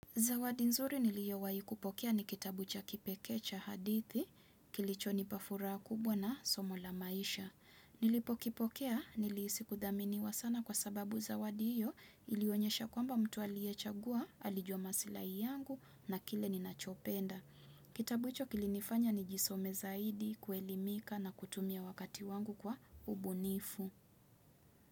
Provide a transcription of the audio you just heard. Zawadi nzuri niliyo wahikupokea ni kitabu cha kipekee cha hadithi, kilicho nipafuraha kubwa na somo la maisha. Nilipo kipokea nilihisi kudhaminiwa sana kwa sababu zawadi hiyo ilionyesha kwamba mtu aliyechagua, alijua masilai yangu na kile ninachopenda. Kitabu hicho kilinifanya nijisome zaidi, kuelimika na kutumia wakati wangu kwa ubunifu.